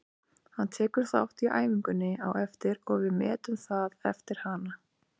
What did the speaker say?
Hann tekur þátt í æfingunni á eftir og við metum það eftir hana.